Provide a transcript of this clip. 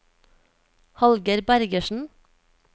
Hallgeir Bergersen